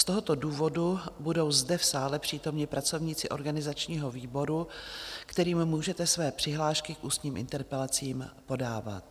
Z tohoto důvodu budou zde v sále přítomni pracovníci organizačního výboru, kterým můžete své přihlášky k ústním interpelacím podávat.